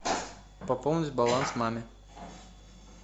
пополнить баланс маме